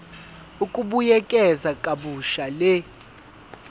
ukubuyekeza kabusha le